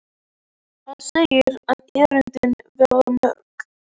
Hann segir að erindin verði mörg.